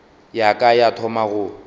ya ka ya thoma go